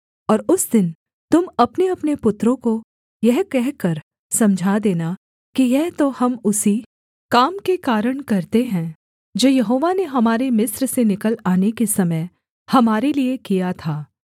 और उस दिन तुम अपनेअपने पुत्रों को यह कहकर समझा देना कि यह तो हम उसी काम के कारण करते हैं जो यहोवा ने हमारे मिस्र से निकल आने के समय हमारे लिये किया था